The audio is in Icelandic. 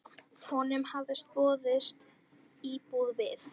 Honum hafði boðist íbúð við